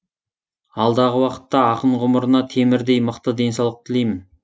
алдағы уақытта ақын ғұмырына темірдей мықты денсаулық тілеймін